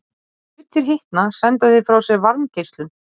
Þegar hlutir hitna senda þeir frá sér varmageislun.